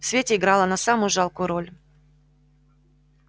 в свете играла она самую жалкую роль